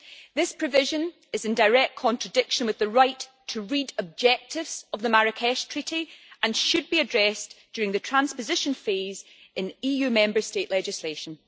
This provision is in direct contradiction with the right to read' objectives of the Marrakesh Treaty and should be addressed, during the transposition phase, in EU Member State legislation.